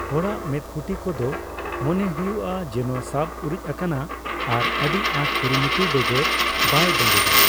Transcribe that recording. ᱦᱚᱲᱟᱜ ᱢᱮᱫᱠᱩᱴᱤ ᱠᱚᱫᱚ ᱢᱚᱱᱮ ᱦᱩᱭᱩᱜᱼᱟ ᱡᱮᱱᱚ ᱥᱟᱵᱽ ᱩᱨᱤᱡᱽ ᱟᱠᱟᱱᱟ ᱟᱨ ᱰᱤᱼᱟᱸᱴ ᱠᱩᱨᱩᱢᱩᱴᱩ ᱵᱮᱜᱚᱨ ᱵᱟᱭ ᱵᱮᱜᱮᱸᱫᱟ ᱾